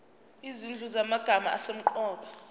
izinhlu zamagama asemqoka